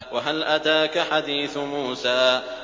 وَهَلْ أَتَاكَ حَدِيثُ مُوسَىٰ